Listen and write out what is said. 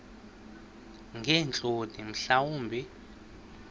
ngeentloni mhla wumbi